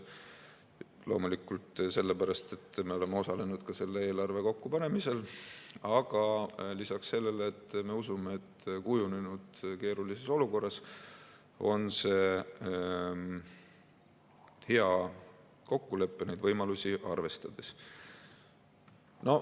Loomulikult sellepärast, et me oleme ka osalenud selle eelarve kokkupanemisel, aga lisaks me usume, et kujunenud keerulises olukorras on see hea kokkulepe olemasolevaid võimalusi arvestades.